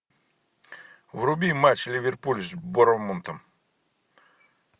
вруби матч ливерпуль с борнмутом